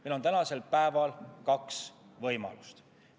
Meil on tänasel päeval kaks võimalust.